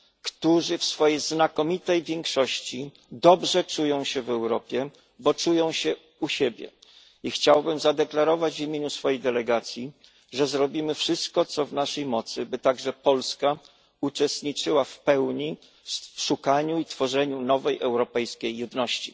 którzy w swojej znakomitej większości dobrze czują się w Europie, bo czują się u siebie. I chciałbym zadeklarować w imieniu swojej delegacji, że zrobimy wszystko, co w naszej mocy, by także Polska uczestniczyła w pełni w szukaniu i tworzeniu nowej europejskiej jedności.